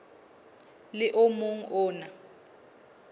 le o mong o na